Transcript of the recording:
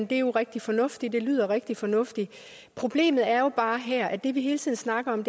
det er jo rigtig fornuftigt det lyder rigtig fornuftigt problemet er jo bare her at det vi hele tiden snakker om